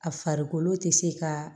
A farikolo tɛ se ka